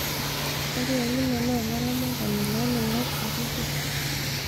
ore Owino naa olaramatani loo loingok sapuki